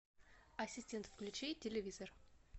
ассистент включи телевизор